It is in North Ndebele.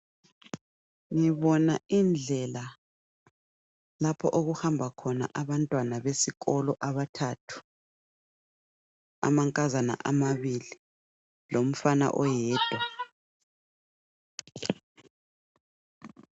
Ngibona indlela lapho okuhamba khona abantwana besikolo abathathu. Amankazana amabili lomfana oyedwa.